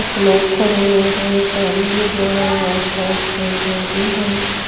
कुछ लोग खड़े हुए है पानी गिर रहा है बहत सारे पेड़ पौधे है।